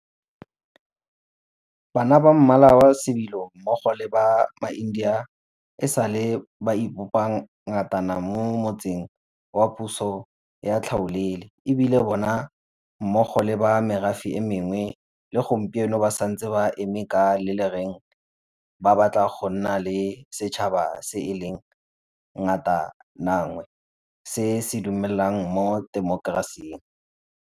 Bana ba Mmala wa Sebilo mmogo le ba maIndia e sa le ba ipopa ngatana mo motsing wa puso ya tlhaolele, e bile bona mmogo le ba merafe e mengwe le gompieno ba santse ba eme ka le lereng ba batla go nna le setšhaba se e leng ngatananngwe se se dumelang mo temokerasing.